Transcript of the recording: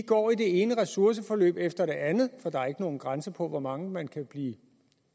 går i det ene ressourceforløb efter det andet for der er ikke nogen grænse for hvor mange man kan blive